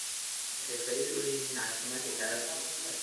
Waxay faa'iido u leeyihiin caafimaadka kaadida.